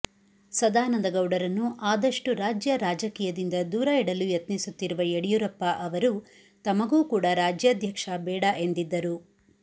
ಸದಾನಂದ ಗೌಡರನ್ನು ಆದಷ್ಟು ರಾಜ್ಯ ರಾಜಕೀಯದಿಂದ ದೂರ ಇಡಲು ಯತ್ನಿಸುತ್ತಿರುವ ಯಡಿಯೂರಪ್ಪ ಅವರು ತಮಗೂ ಕೂಡಾ ರಾಜ್ಯಾಧ್ಯಕ್ಷ ಬೇಡ ಎಂದಿದ್ದರು